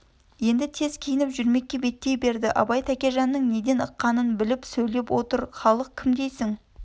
енді тез киініп жүрмекке беттей берді абай тәкежанның неден ыққанын біліп сөйлеп отыр халық кім дейсің